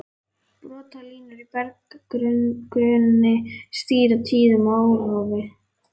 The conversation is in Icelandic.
Brotalínur í berggrunni stýra tíðum árrofi.